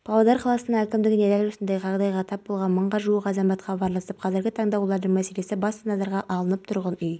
клаудио дескальци эни спкомпаниясының президенті авторлары ердәулет байдуллаев серік қоңырбаев өрттің шығу салдары әзірге белгісіз басылымның